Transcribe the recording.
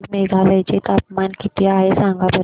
आज मेघालय चे तापमान किती आहे सांगा बरं